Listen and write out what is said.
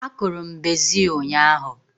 A kụrụ m bezil ụnyaahụ